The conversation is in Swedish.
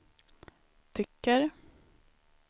tycker